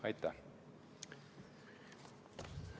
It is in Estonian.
Aitäh!